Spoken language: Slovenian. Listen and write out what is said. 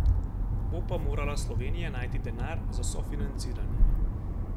Bo pa morala Slovenija najti denar za sofinanciranje.